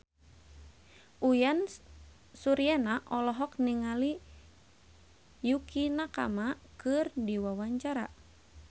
Uyan Suryana olohok ningali Yukie Nakama keur diwawancara